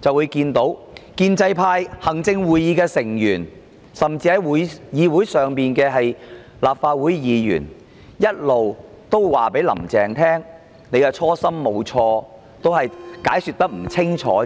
中，建制派、行政會議成員甚至立法會議員一直說，"林鄭"的初心沒有錯，只是解說不清楚。